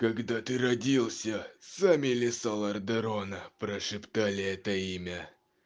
когда ты родился сами леса лордерона прошептали это имя